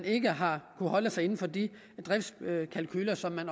ikke har kunnet holde sig inden for de driftkalkuler som